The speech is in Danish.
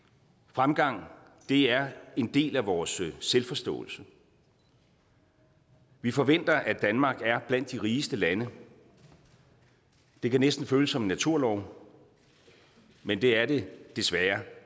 fremgang er en del af vores selvforståelse vi forventer at danmark er blandt de rigeste lande det kan næsten føles som en naturlov men det er det desværre